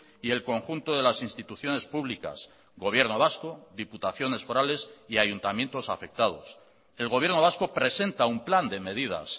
y el conjunto de las instituciones públicas gobierno vasco diputaciones forales y ayuntamientos afectados el gobierno vasco presenta un plan de medidas